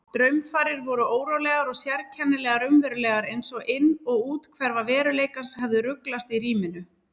Draumfarir voru órólegar og sérkennilega raunverulegar einsog inn- og úthverfa veruleikans hefðu ruglast í ríminu.